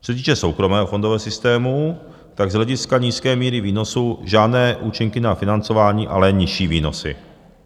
Co se týče soukromého fondového systému, tak z hlediska nízké míry výnosů žádné účinky na financování, ale nižší výnosy.